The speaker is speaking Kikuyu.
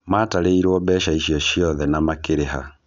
Matarĩirwo mbeca icio ciothe na makĩrĩha